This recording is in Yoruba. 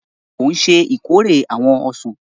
Ṣe o ṣe ìkórè awọn ọsan?